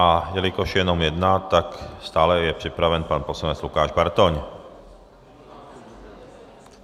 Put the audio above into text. A jelikož je jenom jedna, tak je stále připraven pan poslanec Lukáš Bartoň.